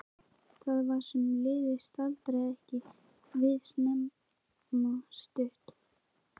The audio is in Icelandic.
Það sem var liðið staldraði ekki við nema stutt.